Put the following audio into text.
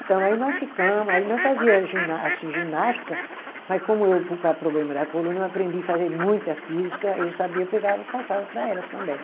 Então aí nós ficamo, aí nós fazia gina assim, ginástica, mas como eu por causa problema da coluna eu aprendi a fazer muita física, eu sabia, pegava e passava para elas também.